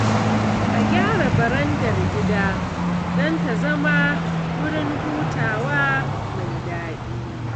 A gyara barandar gida don ta zama wurin hutawa mai daɗi.